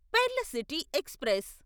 pearl city express